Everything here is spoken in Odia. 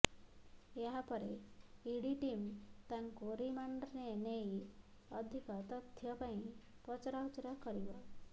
ଏହାପରେ ଇଡି ଟିମ୍ ତାଙ୍କୁ ରିମାଣ୍ଡରେ ନେଇ ଅଧିକ ତଥ୍ୟ ପାଇଁ ପଚରାଉଚରା କରିବ